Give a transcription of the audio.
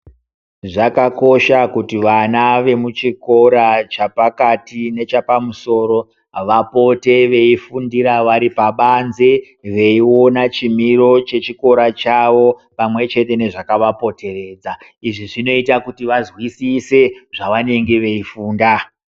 Zvakakosha kuti vana vemuchikora chapakati nechapamusoro vapote veifundira vari pabanze veiona chimiro chechikora chavo, pamwechete nezvakavapoteredza. Izvi zvinoite kuti vazwisise zvavanenge veifunda.